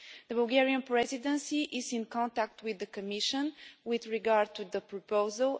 The Bulgarian Presidency is in contact with the Commission with regard to the proposal.